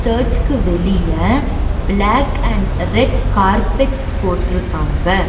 சர்ச்க்கு வெளிய black and red carpets போட்ருக்காங்க.